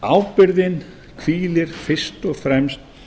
ábyrgðin hvílir fyrst og fremst